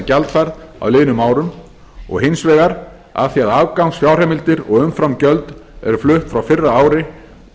gjaldfærð á liðnum árum og hins vegar af því að afgangsfjárheimildir og umframgjöld eru flutt frá fyrra ári